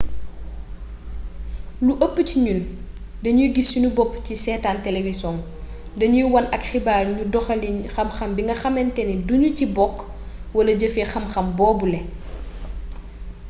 lu ëpp ci ñun dañuy giss sunu boppu ci setaan telewisong dañuy won ak xibaar ñu doxalin xam-xam bi nga xameenténé duñu ci bokk wala jëfee xam-xam boobule